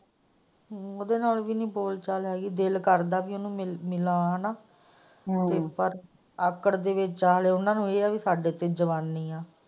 ਉਹਦੇ ਨਾਲ ਵੀ ਨਹੀਂ ਬੋਲ ਚਾਲ ਹੈਗੀ ਦਿਲ ਕਰਦਾ ਹੈ ਉਹਨੂੰ ਮਿਲਾ ਹੈਗਾ ਹੇਨਾ ਪਰ ਆਕੜ ਦੇ ਵਿੱਚ ਹਾਂ ਉਹਨਾਂ ਨੂੰ ਇਹ ਹੈ ਕਿ ਸਾਡੇ ਤੇ ਜਵਾਨੀ ਹੈ।